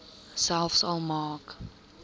selfs al maak